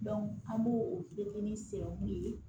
an b'o o petini